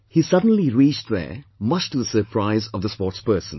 He suddenly reached there, much to the surprise of the sportspersons